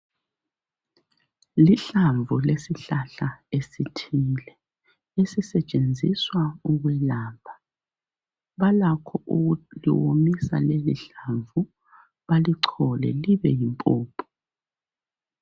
Lihlamvu lesihlahla esithile. Esisetshenziswa ukwelapha. Balakho ukuliwomisa lelihlamvu, balichole libe yimpuphu.